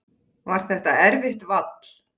Var það erfitt vall?